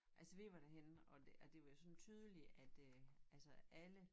Altså vi var derhenne og og det var sådan tydeligt at øh altså alle